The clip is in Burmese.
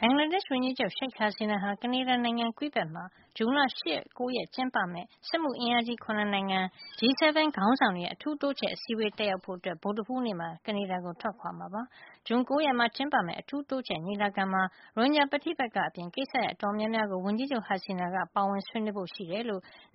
ဘင်္ဂလားဒေ့ရှ် ဝန်ကြီးချုပ် Sheik Hasina ဟာ ကနေဒါနိုင်ငံ Quebec မှာ ဇွန် ၈ ရက်- ၉ ရက်မှာ ကျင်းပမယ့် စက်မှုအင်အားကြီး ၇ နိုင်ငံ G 7 ခေါင်းဆောင်တွေရဲ့ အထူးတိုးချဲ့အစည်းဝေးကို တက်ရောက်ဖို့ ဗုဒ္ဓဟူးနေ့မှာ ကနေဒါကို ထွက်ခွါမှာ ဖြစ်ပါတယ်။ ဇွန် ၉ ရက်မှာ ကျင်းပမယ့် အထူးတိုးချဲ့ညီလာခံမှာ ရိုဟင်ဂျာ ပဋိပက္ခ အပြင် ကိစ္စရပ်တော်တော်များများကို ဝန်ကြီးချုပ် Hasina က ပါဝင်ဆွေးနွေးဖို့ ရှိကြောင်း